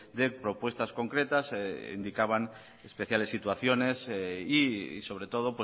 de propuestas concretas e indicaban especiales situaciones y sobre todo